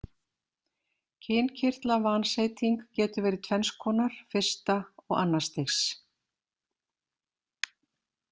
Kynkirtlavanseyting getur verið tvenns konar, fyrsta og annars stigs.